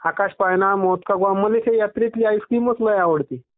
आकाश पाळणा मौत का कुआ म्हणून चा मला या यात्रेतली आईस क्रीमच लय आवडती.